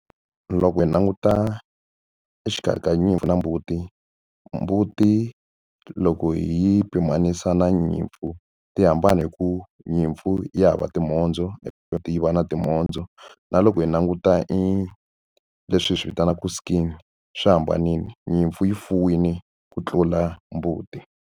Loko hi languta exikarhi ka nyimpfu na mbuti mbuti loko hi yi pimanisa na nyimpfu ti hambana hi ku nyimpfu ya hava timhondzo hi tiva na timhondzo na loko hi languta i leswi hi swi vitanaku skin swi hambanile nyimpfu yi fuwile ku tlula mbuti.